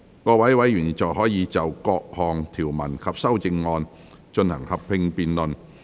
各位委員現在可以就各項條文及修正案，進行合併辯論。